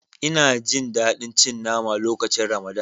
Ina Jin dadi cin mama lokacin ramadan.